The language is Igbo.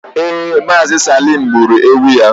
ee, Mazi salime gburu ewu ya